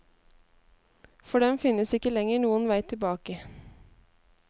For dem finnes ikke lenger noen vei tilbake.